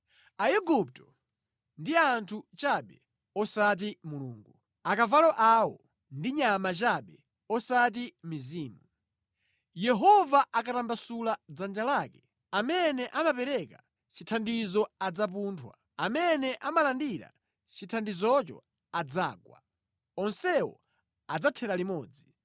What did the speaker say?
Aigupto ndi anthu chabe osati Mulungu; akavalo awo ndi nyama chabe osati mizimu. Yehova akangotambasula dzanja lake, amene amapereka chithandizo adzapunthwa, amene amalandira chithandizocho adzagwa; onsewo adzathera limodzi.